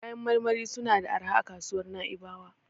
Kayan marmari suna da arha a kasuwar Na'ibawa.